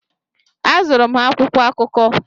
Azụụrụ m ha akwụkwọ akụkọ.